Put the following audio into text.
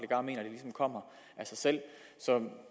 ligesom kommer af sig selv så